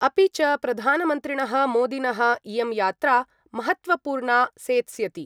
अपि च प्रधानमन्त्रिणः मोदिनः इयं यात्रा महत्तवपूर्णा सेत्स्यति।